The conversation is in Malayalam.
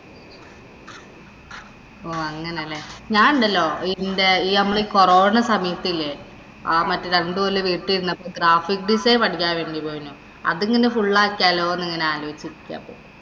ഓ, അങ്ങനെ അല്ലേ. ഞാനൊണ്ടല്ലോ ഇന്‍റെ ഈ മ്മള് ഈ കൊറോണസമയത്ത് ഇല്ലേ. മറ്റേ രണ്ടുകൊല്ലം വീട്ടില്‍ ഇരുന്നപ്പോള്‍ graphic design പഠിക്കാന്‍ വേണ്ടി പോയിനു. അത് ഇങ്ങനെ full ആക്കിയാലോ എന്നിങ്ങനെ ആലോചിചിരിക്കുവാ ഇപ്പൊ.